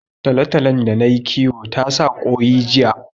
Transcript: Tolotolon da nayi kiwo ta sa ƙoyi jiya